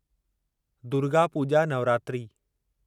Durga Puja Navratri